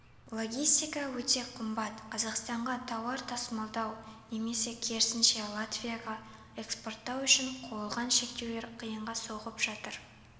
логистика өте қымбат қазақстанға тауар тасымалдау немесе керісінше латвияға экспорттау үшін қойылған шектеулер қиынға соғып жатыр